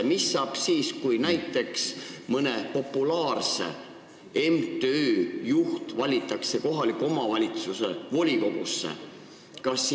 Ja mis saab siis, kui näiteks mõne populaarse MTÜ juht valitakse kohaliku omavalitsuse volikogusse?